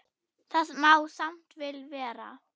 Það má samt vel vera.